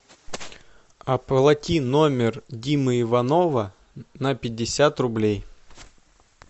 оплати номер димы иванова на пятьдесят рублей